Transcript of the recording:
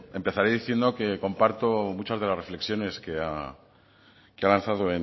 empezaré diciendo que comparto muchas de las reflexiones que ha lanzado